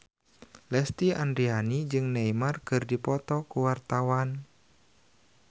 Lesti Andryani jeung Neymar keur dipoto ku wartawan